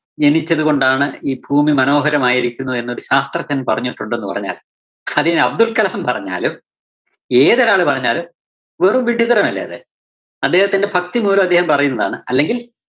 ജനിച്ചതുകൊണ്ടാണ് ഈ ഭൂമി മനോഹരമായിരിക്കുന്നത് എന്നൊരു ശാസ്ത്രജ്ഞന്‍ പറഞ്ഞിട്ടുണ്ടെന്ന് പറഞ്ഞാല്‍ അതിനി അബ്ദുള്‍കലാം പറഞ്ഞാലും ഏതൊരാള് പറഞ്ഞാലും വെറും വിഡ്ഢിത്തരം അല്ലേ അത്. അദ്ദേഹത്തിന്റെ ഭക്തിമൂലം അദ്ദേഹം പറയുന്നതാണ് അല്ലെങ്കില്‍.